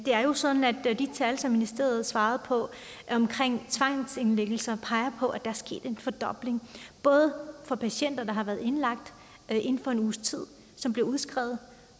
er jo sådan at de tal som ministeriet svarede på omkring tvangsindlæggelser peger på at der er sket en fordobling både for patienter der har været indlagt inden for en uges tid som bliver udskrevet